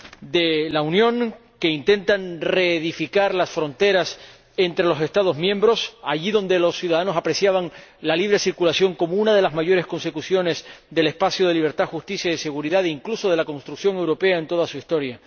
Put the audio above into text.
de la Unión, que intentan reedificar las fronteras entre los Estados miembros, allí donde los ciudadanos apreciaban la libre circulación como una de las mayores consecuciones del espacio de libertad, justicia y seguridad, incluso de la construcción europea en toda su historia.